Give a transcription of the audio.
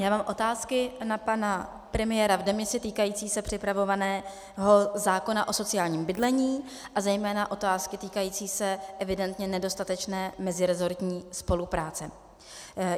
Já mám otázky na pana premiéra v demisi týkající se připravovaného zákona o sociálním bydlení a zejména otázky týkající se evidentně nedostatečné mezirezortní spolupráce.